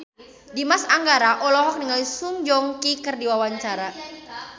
Dimas Anggara olohok ningali Song Joong Ki keur diwawancara